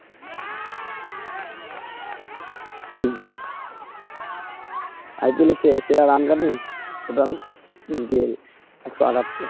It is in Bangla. IPL এর সেরা total একশো আঠাত্তর